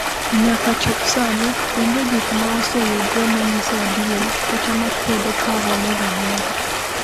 Nyaka chop sani, onge gik ma oseyudre ma nyiso adier kata ma kwedo paro moro amora.